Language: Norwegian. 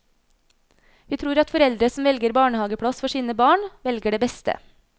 Vi tror at foreldre som velger barnehageplass for sine barn, velger det beste.